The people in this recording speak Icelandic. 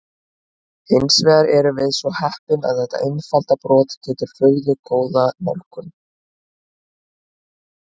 Hins vegar erum við svo heppin að þetta einfalda brot gefur furðu góða nálgun.